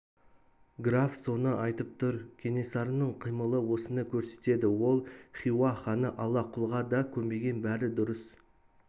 граф соны айтып тұр кенесарының қимылы осыны көрсетеді ол хиуа ханы аллақұлға да көнбеген бәрі дұрыс